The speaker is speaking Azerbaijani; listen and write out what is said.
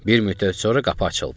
Bir müddət sonra qapı açıldı.